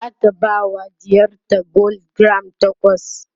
zata bawa ɗiyarta gwal giram takwas